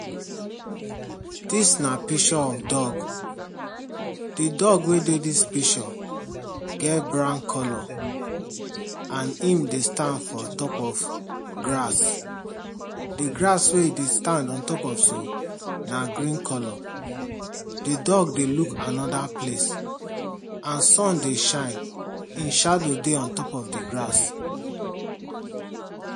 Dis na picture of dog. The dog wey dey dis picture get brown colour. and im dey stand on top of grass. The grass wey e dey stand on top of so, na green colour. The dog dey look another place and sun dey shine. E shadow dey on top of the grass.